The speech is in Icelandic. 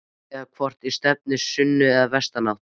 Eða hvort stefni í sunnan- eða vestanátt?